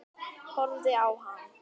Horfið á hann.